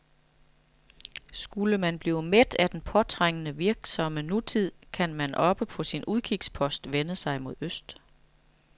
Skulle man blive mæt af den påtrængende, virksomme nutid, kan man oppe på sin udkigspost vende sig mod øst.